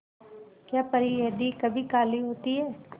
क्या परी यदि कभी काली होती है